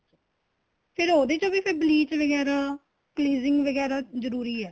ਫ਼ੇਰ ਉਹਦੇ ਚ bleach ਵਗੈਰਾ cleansing ਵਗੈਰਾ ਜਰੂਰੀ ਆ